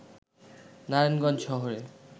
নারায়ণগঞ্জ শহরে